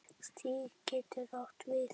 Stig getur átt við